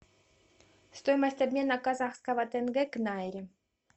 стоимость обмена казахского тенге к найре